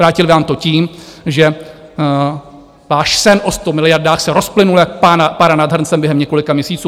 Vrátily vám to tím, že váš sen o 100 miliardách se rozplynul jak pára nad hrncem během několika měsíců.